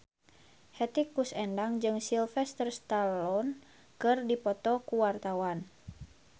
Hetty Koes Endang jeung Sylvester Stallone keur dipoto ku wartawan